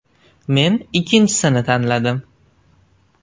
Men ikkinchisini tanladim.